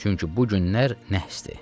Çünki bu günlər nəhsdir.